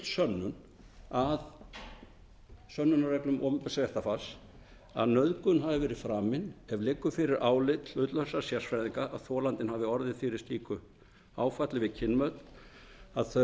lögfull sönnun að sönnunarefnum opinbers réttarfars að nauðgun hafi verið framin ef liggur fyrir álit hlutlausra sérfræðinga að þolandinn hafi orðið fyrir slíku áfalli við kynmök að